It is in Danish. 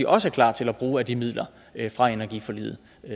også er klar til at bruge af de midler fra energiforliget